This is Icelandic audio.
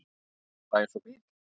Bara eins og bíll.